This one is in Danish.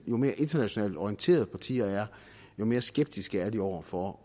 jo mere internationalt orienterede partier er jo mere skeptiske er de over for